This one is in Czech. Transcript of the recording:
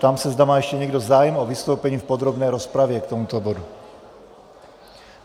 Ptám se, zda má ještě někdo zájem o vystoupení v podrobné rozpravě k tomuto bodu.